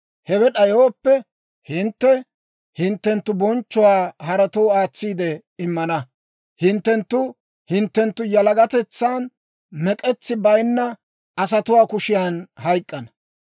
Hewe d'ayooppe, hintte hinttenttu bonchchuwaa haratoo aatsiide immana. Hinttenttu hinttenttu yalagatetsan mek'etsi bayinna asatuwaa kushiyan hayk'k'ana.